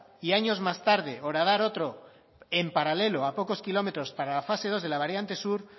y años más tarde horadar otro en paralelo a pocos kilómetros para la fase dos de la variante sur